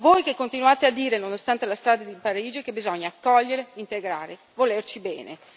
Voi che continuate a dire, nonostante la strage di Parigi, che bisogna accogliere, integrare, volerci bene.